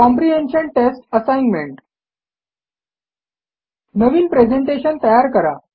comprehension test assignment नवीन presentation तयार करा